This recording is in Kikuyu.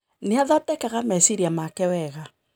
Nĩ athondekaga meciria make wega.